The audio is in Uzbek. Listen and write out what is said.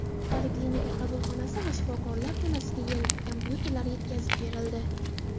Poliklinika qabulxonasi va shifokorlar xonasiga yangi kompyuterlar yetkazib berildi.